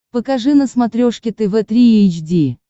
покажи на смотрешке тв три эйч ди